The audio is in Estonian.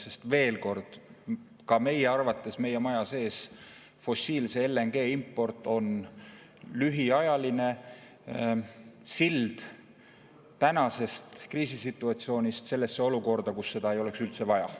Sest veel kord: ka meie arvates, ka meie maja sees arvatakse, et fossiilse LNG import on lühiajaline sild tänasest kriisisituatsioonist sellesse olukorda, kus seda ei oleks üldse vaja.